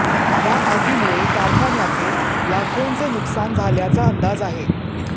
या आगीमुळे कारखान्याचे लाखोंचे नुकसान झाल्याचा अंदाज आहे